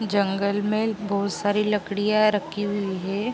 जंगल में बहुत सारी लकड़ियाँ रखी हुई है ।